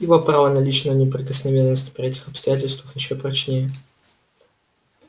его право на личную неприкосновенность при этих обстоятельствах ещё прочнее